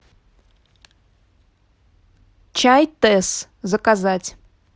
чай тесс заказать